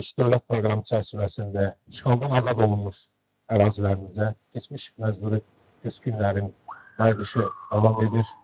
Böyük qayıdış dövlət proqramı çərçivəsində işğaldan azad olunmuş ərazilərimizə keçmiş məcburi köçkünlərin qayıdışı davam edir.